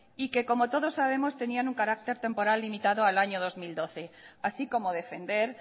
y que como todos sabemos tenían un carácter temporal limitado al año dos mil doce así como defender